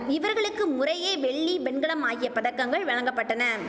இவர்களுக்கு முறையே வெள்ளி வெண்கலம் ஆகிய பதக்கங்கள் வழங்க பட்டன